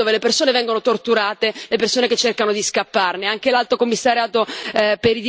Stanno rimandando in Libia, nelle prigioni dove le persone vengono torturate, le persone che cercano di scapparne.